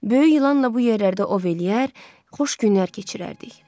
Böyük yılanla bu yerlərdə ov eləyər, xoş günlər keçirərdik.